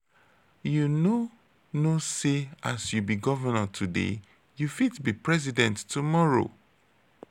you no know sey as you be governor today you fit be president tomorrow.